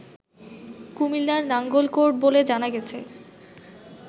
কুমিল্লার নাঙ্গলকোর্ট বলে জানা গেছে